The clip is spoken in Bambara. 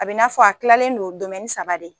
A be n'a fɔ a kilalen don domɛni saba de